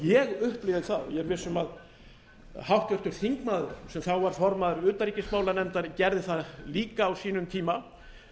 ég upplifi það og ég er viss um að háttvirtur þingmaður sem þá var formaður utanríkismálanefndar gerði það líka á sínum tíma